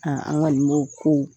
an kɔni b'o ko